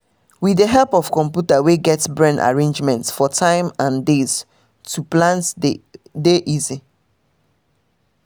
with the help of computer wey get brain arrangements for tym n days to plant dey easy